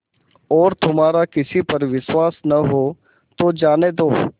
और तुम्हारा किसी पर विश्वास न हो तो जाने दो